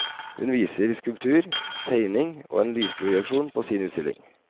Hun viser skulptur, tegning og en lysprojeksjon på sin utstilling.